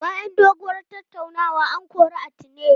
Bayan doguwar tattaunawa, an kori Atine.